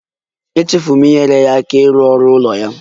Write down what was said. Echefuru m inyere ya aka ịrụ ọrụ ụlọ ya